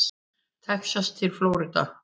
Texas til Flórída.